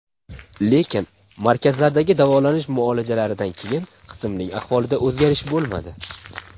Lekin, markazlardagi davolanish muolajalaridan keyin qizimning ahvolida o‘zgharish bo‘lmadi.